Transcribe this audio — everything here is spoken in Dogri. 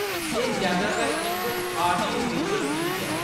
एह्‌‌ जैदातर इक ऑडियो-विजुअल चीज ऐ।